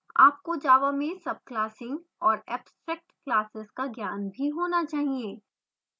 आपको java में subclassing और abstract classes का ज्ञान भी होना चाहिए